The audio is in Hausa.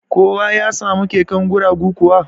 Kowa ya samu keken guragu kuwa?